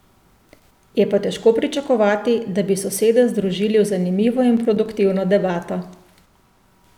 Je pa težko pričakovati, da bi sosede združili v zanimivo in produktivno debato.